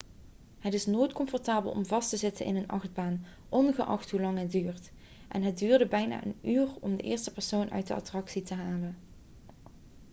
het is nooit comfortabel om vast te zitten in een achtbaan ongeacht hoelang het duurt en het duurde bijna een uur om de eerste persoon uit de attractie te halen.'